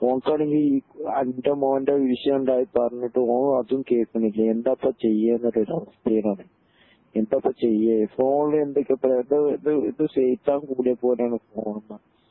ഓൻക് ആണെങ്കിൽ അൻ്റെ മോൻ്റെ വിഷയം ഉണ്ടായെ പറഞ്ഞിട്ട് ഓൻ അതും കേൾക്കുന്നില്ല എന്താ ഇപ്പൊ ചെയ്യേനുള്ളൊരു അവസ്ഥേൽ ആണ് എന്താപ്പോ ചെയ്യേ ഫോണിൽ എന്തൊക്കെത്രെ എന്തോ ഇത് ഇത് സൈതാൻ കുടുങ്ങിയ പോലെ ആണ് ഫോൺമ്മെ